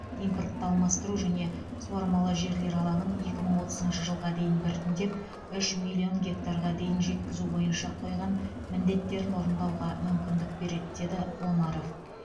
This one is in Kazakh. импортты алмастыру және суармалы жерлер алаңын екі мың отызыншы жылға дейін біртіндеп үш миллион гектарға дейін жеткізу бойынша қойған міндеттерін орындауға мүмкіндік береді деді омаров